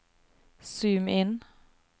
zoom inn